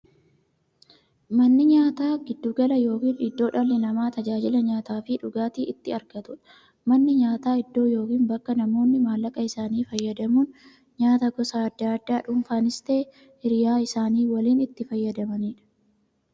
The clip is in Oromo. Manni nyaataa giddu gala yookiin iddoo dhalli namaa taajila nyaataafi dhugaatii itti argatuudha. Manni nyaataa iddoo yookiin bakka namoonni maallaqa isaanii fayyadamuun nyaataa gosa addaa addaa dhunfanis ta'ee hiriyyaa isaanii waliin itti fayyadamaniidha.